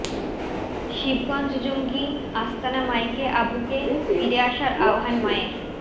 শিবগঞ্জ জঙ্গি আস্তানা মাইকে আবুকে ফিরে আসার আহ্বান মায়ের